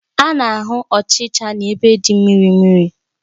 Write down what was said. A na-ahụ ọchịchara n'ebe dị mmiri mmiri.